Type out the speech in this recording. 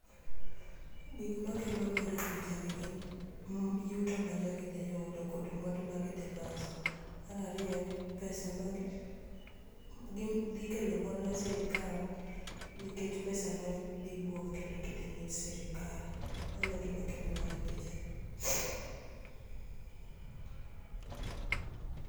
Gik makelo mor e pichagi gin yuto ma jogi dhi yudo kod mwandu ma gidhi loso. Mar ariyo en pesa, dhi kelo mor ne sirikal nikech pesa madhi wuok kendo kidhi mi sirikal. Mano e gima kelo mor e pichani.